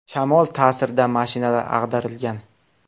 Shamol ta’sirida mashinalar ag‘darilgan.